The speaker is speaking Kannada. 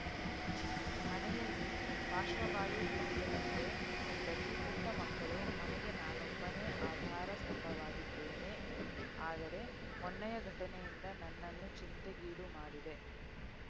ಮನೆಯಲ್ಲಿ ಪಾಶ್ವವಾಯು ಪೀಡಿತ ತಂದೆ ಹೆಂಡತಿ ಪುಟ್ಟ ಮಕ್ಕಳು ಮನೆಗೆ ನಾನೊಬ್ಬನೇ ಆಧಾರ ಸ್ಥಂಬವಾಗಿದ್ದೇನೆ ಆದರೆ ಮೊನ್ನೆಯ ಘಟನೆಯಿಂದ ನನ್ನನ್ನು ಚಿಂತೆಗೀಡು ಮಾಡಿದೆ